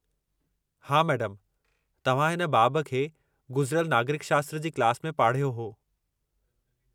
हा, मैडमु तव्हां हिन बाबु खे गुज़िरयल नागरिक शास्त्र जी क्लास में पाढ़यो हो।